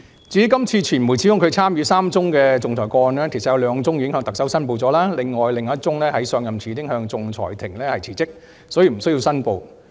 至於今次傳媒指控司長參與3宗仲裁個案，其實有兩宗司長已經向特首申報，另一宗在上任前已向仲裁庭辭職，所以不需要申報。